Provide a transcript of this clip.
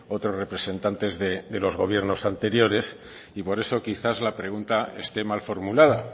otros representantes de los gobiernos anteriores y por eso quizás la pregunta esté mal formulada